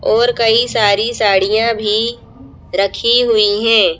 और कई सारी साड़ियां भी रखी हुई हैं।